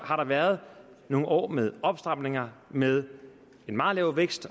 har der været nogle år med opstramninger med en meget lav vækst